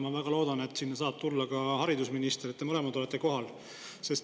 Ma väga loodan, et sinna saab tulla ka haridusminister, et te mõlemad olete kohal.